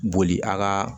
Boli a ka